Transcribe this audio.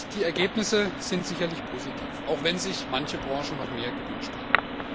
Die Ergebnisse sind sicher positiv, auch wenn sich manche Branchen noch mehr gewünscht hätten.